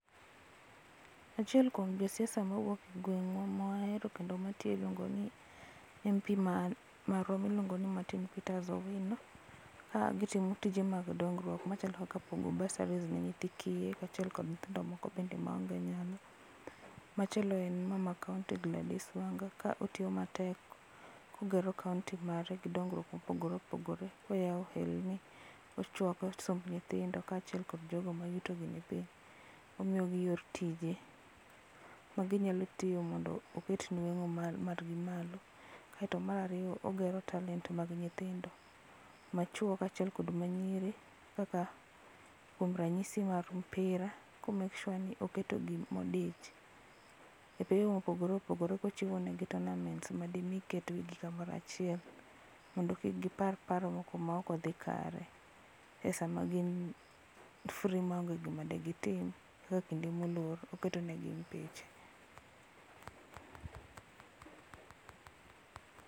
Achiel kuom josiasa mawuok e gwengwa ma wahero kendo matiyo iluongo ni Mp marwa miluongo ni Martin peters Owino ka gitimo tije mag dongruok machalo kaka pogo basari ne nyithi kiye kachiel kod nyithindo moko be maonge nyalo. Machielo en mama kaunti Gladys Wanga ka otiyo matek kogero kaunti mare gi dongruok mopogore opogore oyao ohelni, ochwako somb nyithindo kachiel kod jogo ma yutogi ni piny, omiyogi tije maginyalo timo mondo oket nwengo margi malo. Kaito mar ariyo ogero talent mar nyithindo machuo kod ma nyiri kaka kuom ranyisi mar mpira ka o make sure ni oketogi modich e pewe mopogore opogore kochiwonegi tournaments ma dimi ketgi kumoro achiel mondo kik gipar paro moko maok odhi kare e sama gin free maonge gima de gitim e kinde molor oketo negi mipiche